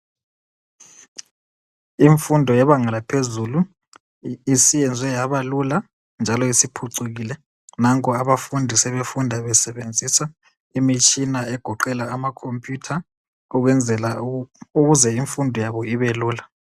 Imfundo yebanga laphezulu isiyenzwe yabalula njalo isiphucukile .Nanko abafundi sebefunda besebenzisa imitshina egoqela amakhomphuyutha ukuze infundo yabo ibelula.